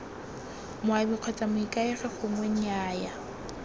moabi kgotsa moikaegi gongwe nnyaya